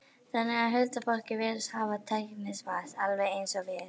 Þannig að huldufólkið virðist hafa tæknivæðst, alveg eins og við?